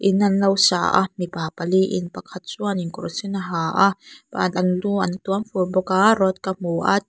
in an lo sa a mipa pali in pakhat chuanin kawr sen a ha a an lu an tuam fur bawk a rod ka hmu a --